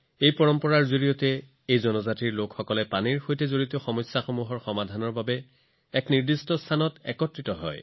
এই পৰম্পৰাৰ অধীনত এই জাতিৰ লোকসকলে পানী সম্পৰ্কীয় সমস্যাবোৰৰ সমাধান বিচাৰি এটা ঠাইত একত্ৰিত হয়